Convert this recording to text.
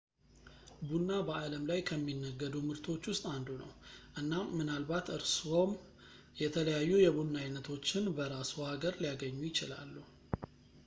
ቡና በአለም ላይ ከሚነገዱ ምርቶች ውስጥ አንዱ ነው እናም ምናልባት እርስዎም የተለያዩ የቡና አይነቶችን በራስዎ ሀገር ሊያገኙ ይችላሉ